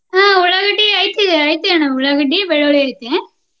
ಹ್ಮ ಉಳ್ಳಾಗಡ್ಡಿ ಐತಿ ಐತಿ ಅಣ್ಣ ಉಳ್ಳಾಗಡ್ಡಿ, ಬೆಳ್ಳುಳ್ಳಿ ಐತಿ.